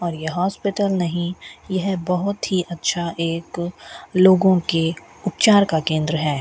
और यह हॉस्पिटल नहीं यह बहुत ही अच्छा एक लोगों के उपचार का केंद्र है।